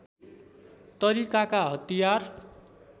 तरिकाका हतियार